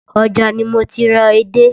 Ọjà ni mo ti ra edé